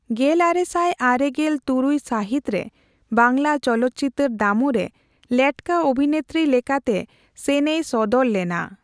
ᱜᱮᱞᱟᱨᱮ ᱥᱟᱭ ᱟᱨᱮᱜᱮᱞ ᱛᱩᱨᱩᱭ ᱥᱟᱹᱦᱤᱛ ᱨᱮ ᱵᱟᱝᱞᱟ ᱪᱚᱞᱚᱛ ᱪᱤᱛᱟᱹᱨ ᱫᱟᱢᱩᱨᱮ ᱞᱮᱴᱠᱟ ᱚᱵᱷᱤᱱᱮᱛᱨᱤ ᱞᱮᱠᱟᱛᱮ ᱥᱮᱱ ᱮᱭ ᱥᱚᱫᱚᱨ ᱞᱮᱱᱟ ᱾